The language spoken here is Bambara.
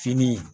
Fini